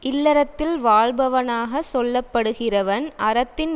இல்லறத்தில் வாழ்பவனாகச் சொல்லப்படுகிறவன் அறத்தின்